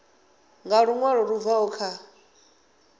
nga luṅwalo lu bvaho kha